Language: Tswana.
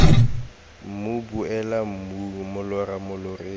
mmu boela mmung molora moloreng